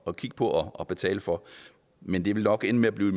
at kigge på og betale for men det vil nok ende med at blive